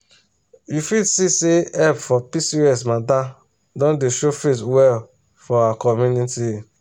you fit see say help for pcos matter don dey show face well for our community.